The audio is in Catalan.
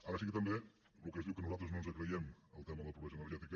ara sí que també el que es diu que nosaltres no ens creiem el tema de la pobresa energètica